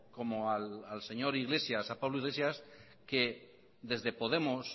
como al señor pablo iglesias que desde podemos